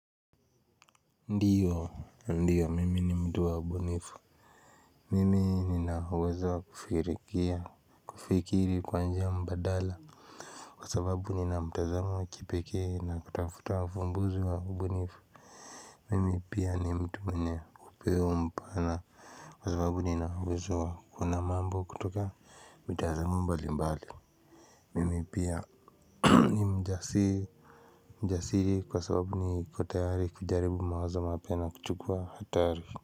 Ndiyo ndiyo mimi ni mtu wa ubunifu mimi nina uwezo wa kufikiri kwa njia mbadala kwa sababu nina mtazamo wa kipekee na kutafuta uvumbuzi wa ubunifu mimi pia ni mtu mwenye upeo mpana kwa sababu nina uwezo wa kuona mambo kutoka mitazamo mbalimbali mimi pia ni mjasiri mjasiri kwa sababu niko tayari kujaribu mawazo mapya na kuchukua hatari.